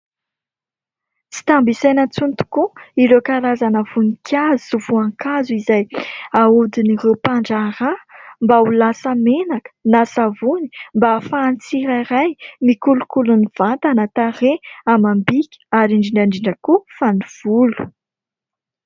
Tsy tambo isaina intsony tokoa ireo karazana voninkazo sy voankazo izay ahodin'ireo mpandraharaha mba ho lasa menaka na savony mba ahafahan'ny tsirairay mikolokolo ny vatana, tarehy, amam-bika ary indrindra indrindra ihany koa fa ny volo.